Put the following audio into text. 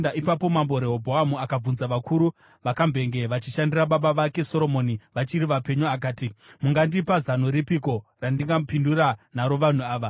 Ipapo Mambo Rehobhoamu akabvunza vakuru vakambenge vachishandira baba vake Soromoni vachiri vapenyu. Akati, “Mungandipa zano ripiko randingapindura naro vanhu ava?”